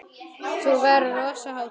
Þá verður rosa hátíð!